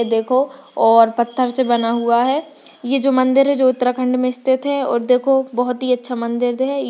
देखो और पत्थर से बना हुआ है ये जो मंदिर है जो उत्तराखंड में स्थित है और देखो बहुत ही अच्छा मंदिर है।